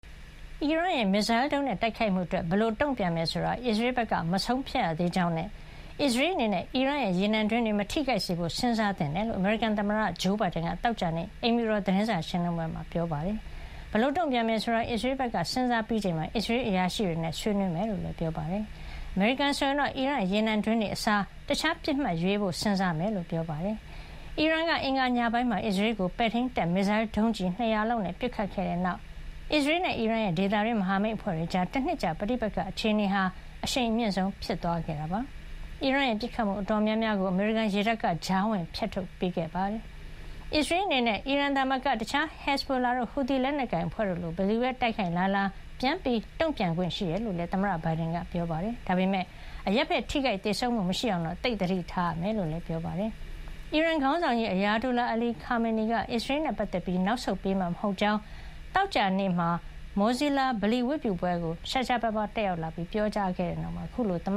အီရန်ရဲ့ မစ်ဇိုင်းဒုံးနဲ့ တိုက်ခိုက်မှုအတွက် ဘယ်လိုတုန့်ပြန်မယ်ဆိုတာကို အစ္စရေးဘက်က မဆုံးဖြတ်ရသေးကြောင်းနဲ့ အစ္စရေး အနေနဲ့ အီရန်ရဲ့ ရေနံတွင်းတွေကို မထိခိုက်စေဖို့ စဉ်းစားသင့်ကြောင်း အမေရိကန် သမ္မတက သောကြာနေ့ အိမ်ဖြူတော် သတင်းစာရှင်းလင်းပွဲမှာ ပြောပါတယ်။ ဘယ်လိုတုန့်ပြန်မယ် ဆိုတာကို အစ္စရေးဘက်က စဉ်းစားပြီးချိန်မှာ အစ္စရေး အရာရှိတွေနဲ့ ဆွေးနွေးဖို့ရှိကြောင်းလည်း ပြောပါတယ်။ အမေရိကန် ဆိုရင်တော့ အီရန်ရဲ့ ရေနံတွင်းတွေ အစား တခြားပစ်မှတ်ကိုရွေးဖို့ စဉ်းစားမှာ ဖြစ်ကြောင်းပြောပါတယ်။ အီရန်က အင်္ဂါညပိုင်းမှာ အစ္စရေးကို ပဲ့ထိန်းတပ် မစ်ဇိုင်းဒုံးကျည် ၂၀၀ လောက်နဲ့ ပစ်ခတ်ခဲ့တဲ့ နောက် အစ္စရေးနဲ့ အီရန်ရဲ့ ဒေသတွင်း မဟာမိတ်အဖွဲ့တွေကြား တနှစ်ကြာ ပဋိပက္ခ အခြေနေဟာ အရှိန်အမြင့်ဆုံး ဖြစ်သွားခဲ့တာပါ။ အီရန်ရဲ့ ပစ်ခတ်မှုအတော်များများကို အမေရိကန်ရေတပ်က ကြားဝင်ဖျက်ထုတ်ပေးခဲ့တာ ဖြစ်ပါတယ်။ အစ္စရေးအနေနဲ့ အီရန်သာမက တခြား ဟက်ဇ်ဘိုလာတို့ ဟူသီလက်နက်ကိုင် အဖွဲ့တို့လို ဘယ်သူပဲ တိုက်ခိုက်လာလာ ပြန်တုန့်ပြန်ခွင့် ရှိတယ်လို့လည်း သမ္မတဘိုင်ဒန်က ပြောပါတယ်။ ဒါပေမယ့် အရပ်ဘက်ထိခိုက် သေဆုံးမှု မရှိအောင်တော့ သိပ်သတိထားဖို့ လိုတယ်လို့လည်း ပြောပါတယ်။ အီရန်ခေါင်းဆောင်ကြီး Ayatollah Ali Khamenei က အစ္စရေး နဲ့ပတ်သက်ပြီး နောက်ဆုတ်ပေး မှာ မဟုတ်ကြောင်း သောကြာနေ့ ဝတ်ပြုဆုတောင်းသူ တွေနဲ့ အတူ Mosalla ဗလီ- ဝတ်ပြုပွဲကို ရှားရှားပါးပါး တက်ရောက်လာပြီး ပြောကြားခဲ့တဲ့ နောက်အခုလို သမ္